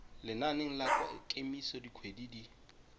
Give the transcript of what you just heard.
lenaneng la kemiso dikgwedi di